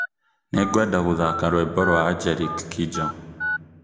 Nĩngwenda gũthaka rwĩmbo rwa Angelique Kidjo